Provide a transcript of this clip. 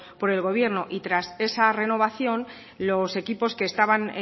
por el gobierno y tras esa renovación los equipos que estaban